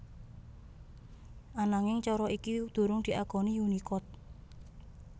Ananging cara iki durung diakoni Unicode